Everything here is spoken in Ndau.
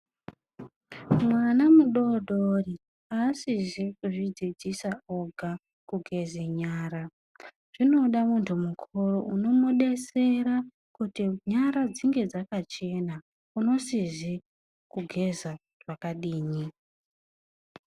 Mwana mudodori asizi kuzvidzidzisa oga kugeze nyara. Zvinoda muntu mukuru unomudetsera kuti nyara dzinge dzakachena unosizi kugeza kwakadini.